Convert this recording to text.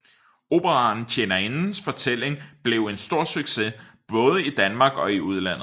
Operaen Tjenerindens fortælling blev en stor success både i Danmark og i udlandet